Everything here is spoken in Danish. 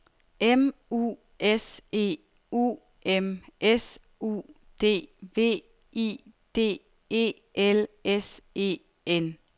M U S E U M S U D V I D E L S E N